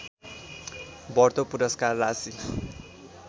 बढ्दो पुरस्कार राशि